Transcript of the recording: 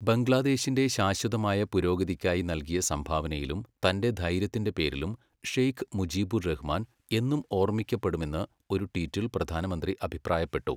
ബംഗ്ലാദേശിന്റെ ശാശ്വതമായ പുരോഗതിക്കായി നൽകിയ സംഭാവനയിലും തന്റെ ധൈര്യത്തിന്റെ പേരിലും ഷേഖ് മുജീബുർ റഹ്മാൻ എന്നും ഓർമ്മിക്കപ്പെടുമെന്ന് ഒരു ട്വീറ്റിൽ പ്രധാനമന്ത്രി അഭിപ്രായപ്പെട്ടു.